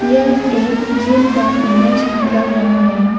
यह एक जिम का इमेज लग रहा है।